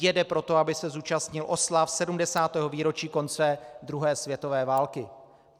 Jede proto, aby se zúčastnil oslav 70. výročí konce druhé světové války.